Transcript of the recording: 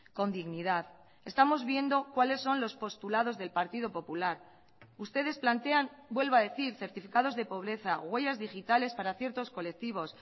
con dignidad estamos viendo cuáles son los postulados del partido popular ustedes plantean vuelvo a decir certificados de pobreza huellas digitales para ciertos colectivos